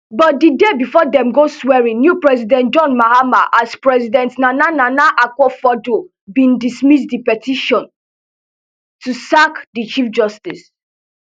but di day bifor dem go swearin new president john mahama as president nana nana akufoaddo bin dismiss di petition to sack di chief justice